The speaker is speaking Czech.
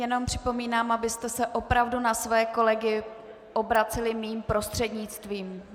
Jenom připomínám, abyste se opravdu na svoje kolegy obraceli mým prostřednictvím.